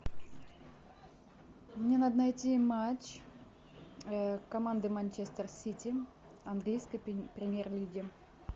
мне надо найти матч команды манчестер сити английской премьер лиги